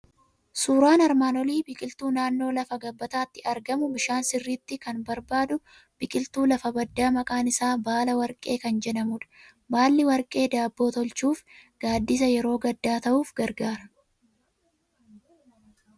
Suuraan armaan olii biqiltuu naannoo lafa gabbataatti argamu, bishaan sirriitti kan barbaadu, biqiltuu lafa baddaa maqaan isaa baala warqee kan jedhamudha. Baalli warqee daabboo tolchuuf, gaaddisa yeroo gaddaa ta'uuf gargaara.